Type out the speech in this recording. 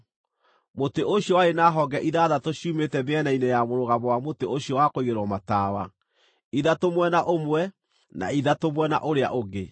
Mũtĩ ũcio warĩ na honge ithathatũ ciumĩte mĩena-inĩ ya mũrũgamo wa mũtĩ ũcio wa kũigĩrĩrwo matawa; ithatũ mwena ũmwe, na ithatũ mwena ũrĩa ũngĩ.